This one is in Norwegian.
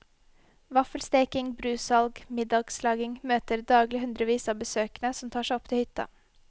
Vaffelsteking, brussalg, og middagslaging møter daglig hundrevis av besøkende som tar seg opp til hytta.